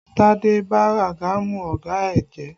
Tade ba àgàmú ọ̀gá ẹ jẹ́!